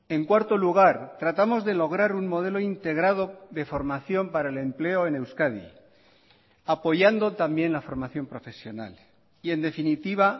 en cuarto lugar tratamos de lograr un modelo integrado de formación para el empleo en euskadi apoyando también la formación profesional y en definitiva